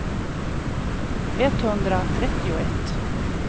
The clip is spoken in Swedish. etthundratrettioett